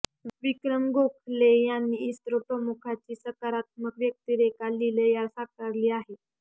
विक्रम गोखले यांनी इस्रो प्रमुखांची सकारात्मक व्यक्तिरेखा लीलया साकारली आहे